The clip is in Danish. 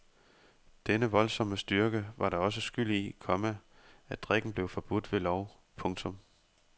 Denne voldsomme styrke var da også skyld i, komma at drikken blev forbudt ved lov. punktum